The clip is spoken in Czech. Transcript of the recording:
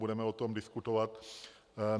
Budeme o tom diskutovat.